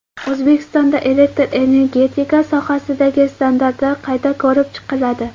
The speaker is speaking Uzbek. O‘zbekistonda elektr energetika sohasidagi standartlar qayta ko‘rib chiqiladi.